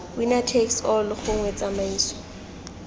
winner takes all gongwe tsamaiso